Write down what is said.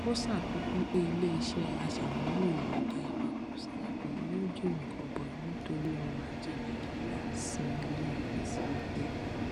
ó ṣàfikún pé iléiṣẹ aṣàmúlò èròjà ìwakùsà epo yóò jèrè gọbọi nítorí ọrọajé nàìjíríà sinmi lé ìpèsè epo